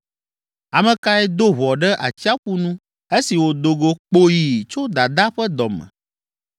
“Ame kae do ʋɔ ɖe atsiaƒu nu esi wòdo go kpoyi tso dadaa ƒe dɔ me